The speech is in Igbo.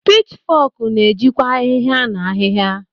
Pichfok na-ejikwa ahihia na ahịhịa.